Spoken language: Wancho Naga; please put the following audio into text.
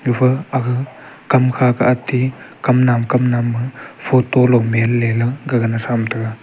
e fu aga kam kha ati kam nap kam nap ma photo log mem ne gaga na tham taiga.